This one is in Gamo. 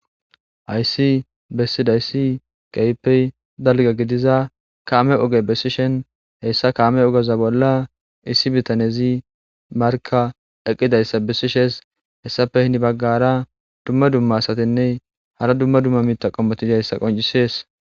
Hayssi bessida issi kaypey dalga gidiza kaame oge bessishen heyssa kaame ogeza bolla issi bitanezi marka eqqidayssa bessishes hessafe hini baggara dumma dumma asatinne hara dumma dumma miita qommotizayssa qoncisees